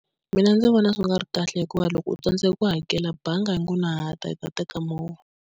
Mina ndzi vona swi nga ri kahle hikuva loko u tsandzeka ku hakela bangi yi nga ha na ta yi ta teka movha.